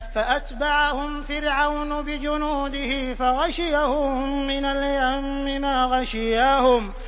فَأَتْبَعَهُمْ فِرْعَوْنُ بِجُنُودِهِ فَغَشِيَهُم مِّنَ الْيَمِّ مَا غَشِيَهُمْ